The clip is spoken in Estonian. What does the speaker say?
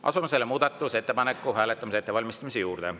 Asume selle muudatusettepaneku hääletamise ettevalmistamise juurde.